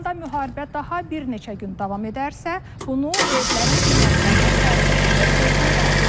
İranda müharibə daha bir neçə gün davam edərsə, bunu evlərin qiymətlərinə təsir edəcəyi gözlənilən.